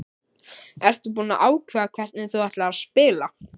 Ertu búinn að ákveða hvernig þú ætlar að spila?